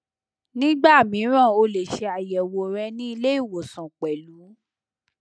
nígbà mìíràn ó lè ṣe ayẹwo rẹ ni ile iwosan pẹlú